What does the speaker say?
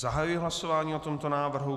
Zahajuji hlasování o tomto návrhu.